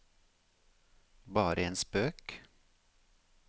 bare en spøk